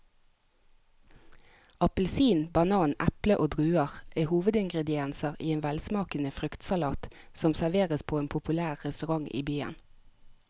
Appelsin, banan, eple og druer er hovedingredienser i en velsmakende fruktsalat som serveres på en populær restaurant i byen.